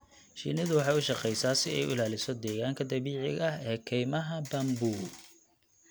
Shinnidu waxay u shaqeysaa si ay u ilaaliso deegaanka dabiiciga ah ee kaymaha bamboo.